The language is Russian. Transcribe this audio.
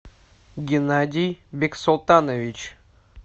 геннадий бексултанович